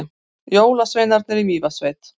Jólasveinar í Mývatnssveit